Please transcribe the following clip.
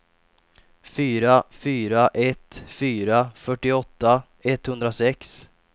fyra fyra ett fyra fyrtioåtta etthundrasex